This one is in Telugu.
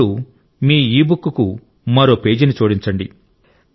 ఇప్పుడు మీ ఇబుక్కు మరో పేజీని జోడించండి